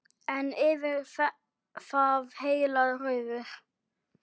En yfir það heila: Rauður.